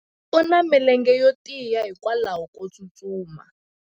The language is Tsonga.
u na milenge yo tiya hikwalaho ko tsustuma